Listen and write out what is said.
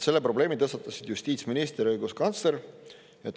Selle probleemi tõstatasid justiitsminister ja õiguskantsler.